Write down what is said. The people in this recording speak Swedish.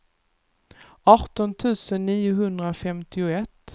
arton tusen niohundrafemtioett